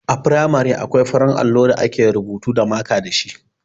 A firamare akwai farin allo da ake rubutu da maka dashi.